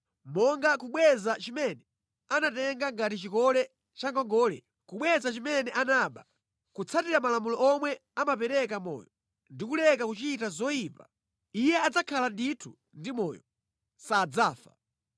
monga kubweza chimene anatenga ngati chikole cha ngongole, kubweza chimene anaba, kutsatira malamulo omwe amapereka moyo ndi kuleka kuchita zoyipa, iye adzakhala ndithu ndi moyo; sadzafa.